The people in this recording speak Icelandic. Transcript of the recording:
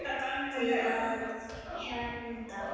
Til að vernda.